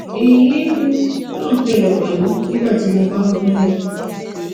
èyí um náà ṣẹlẹ pẹlú nígbà tí mo bá ń gunlé